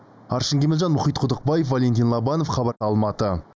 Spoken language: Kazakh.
аршын кемелжан мұхит құдықбаев валентин лобанов хабар алматы